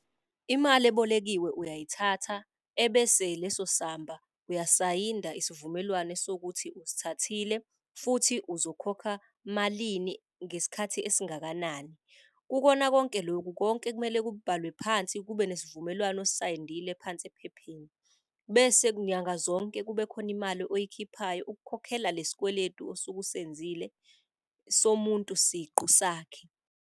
Imali ebolekiwe uyayithatha ebese leso samba uyasayinda isivumelwano sokuthi usithathile futhi uzokhokha malini ngesikhathi esingakanani. Kukona konke loku konke kumele kubhalwe phansi, kube nesivumelwano osisayilindile phansi ephepheni. Bese nyanga zonke kube khona imali oyikhiphayo, ukukhokhela lesi kweletu osuke usenzile somuntu siqu sakhe.